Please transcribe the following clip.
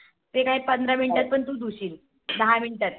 ते काय पंधरा Miniute त धुशील. दहा Minute त.